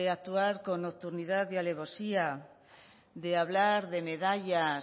actuar con nocturnidad y alevosía de hablar de medallas